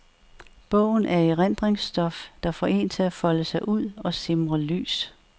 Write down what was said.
Bogen er erindringsstof, der får en til at folde sig ud og simre lys.